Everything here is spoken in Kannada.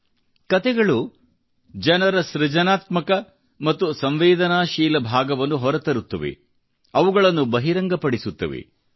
wear there is a soul there is a story ಕತೆಗಳು ಜನರ ಸೃಜನಾತ್ಮಕ ಮತ್ತು ಸಂವೇದನಾಶೀಲ ಭಾಗವನ್ನು ಹೊರತರುತ್ತವೆ ಅವುಗಳನ್ನು ಬಹಿರಂಗಪಡಿಸುತ್ತವೆ